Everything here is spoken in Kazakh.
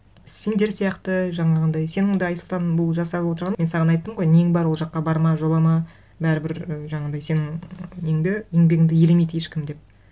сендер сияқты жаңағындай сенің де айсұлтан бұл жасап отырғаның мен саған айттым ғой нең бар ол жаққа барма жолама бәрібір і жаңағындай сенің неңді еңбегіңді елемейді ешкім деп